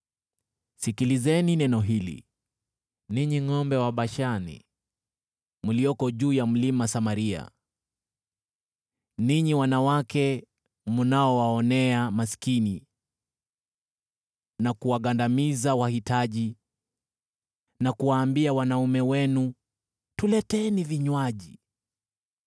Sikilizeni neno hili, ninyi ngʼombe wa Bashani mlioko juu ya Mlima Samaria, ninyi wanawake mnaowaonea maskini, na kuwagandamiza wahitaji, na kuwaambia wanaume wenu, “Tuleteeni vinywaji!”